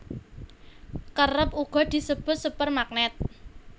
Kerep uga disebut sepur magnèt